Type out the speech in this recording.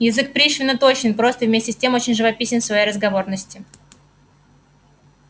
язык пришвина точен прост и вместе с тем очень живописен в своей разговорности